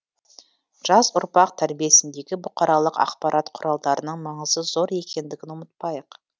жас ұрпақ тәрбиесіндегі бұқаралық ақпарат құралдарының маңызы зор екендігін ұмытпайық